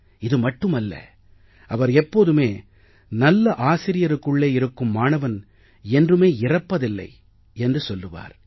இது மட்டுமல்ல அவர் எப்போதுமே நல்ல ஆசிரியருக்குள்ளே இருக்கும் மாணவன் என்றுமே இறப்பதில்லை என்று சொல்லுவார்